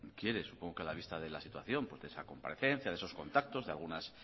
quiere supongo que a la vista de la situación porque esa comparecencia de esos contactos de algunas